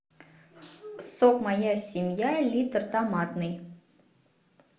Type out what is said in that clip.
сок моя семья литр томатный